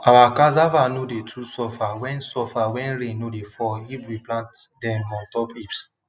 our cassave no dey too suffer when suffer when rain no dey fall if we plant dem on top heaps